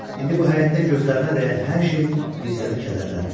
İndi bu həyətdə gözlərinə dəyən hər şey Mirzəni kədərləndirir.